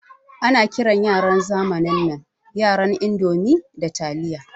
Ana kiran yaran zamanin nan yaran indomi da taliya.